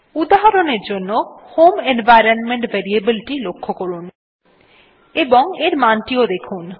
উদাহরণের জন্য home environment variable টি লক্ষ্য করুন এবং এর মান টি দেখুন